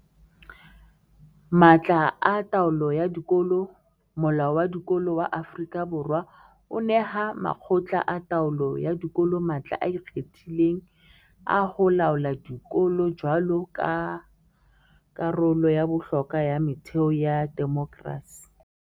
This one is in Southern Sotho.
Matla a taolo ya dikolo Molao wa Dikolo wa Aforika Borwa o neha makgotla a taolo ya dikolo matla a ikgethileng a ho laola dikolo jwaloka karolo ya bohlokwa ya metheo ya demokerasi.